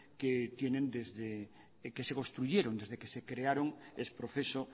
que tienen desde que se construyeron desde que se crearon ex proceso